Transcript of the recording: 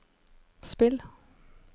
spill